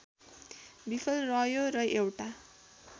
विफल रह्यो र एउटा